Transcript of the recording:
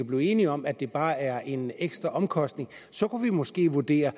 blive enige om at det bare er en ekstra omkostning så kunne vi måske vurdere